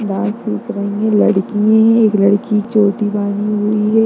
Dance सीख रही है लड़की हैएक लड़की चोटी बाँधी हुई है।